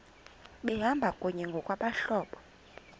behamba kunye ngokwabahlobo